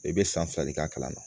I bɛ san fila de k'a kalama